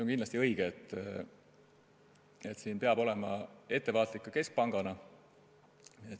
Kindlasti on õige, et siin peab ka keskpank olema ettevaatlik.